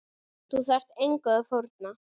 Þú þarft engu að fórna.